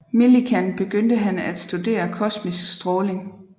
Millikan begyndte han at studere kosmisk stråling